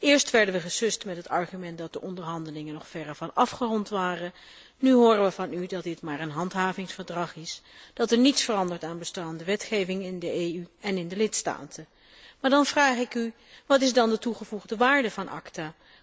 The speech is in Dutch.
Eerst werden we gesust met het argument dat de onderhandelingen nog verre van afgerond waren, nu horen we van u dat dit maar een handhavingsverdrag is, dat niets verandert aan bestaande wetgeving in de EU en in de lidstaten. Maar dan vraag ik u wat is dan de toegevoegde waarde van ACTA?